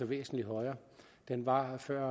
væsentlig højere den var før